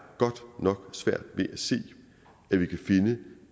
godt nok svært ved at se at vi kan finde